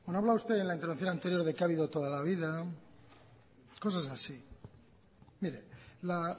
habla usted en la intervención anterior de que ha habido toda la vida cosas así mire la